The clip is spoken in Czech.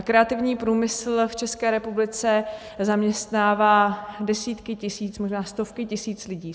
A kreativní průmysl v České republice zaměstnává desítky tisíc, možná stovky tisíc lidí.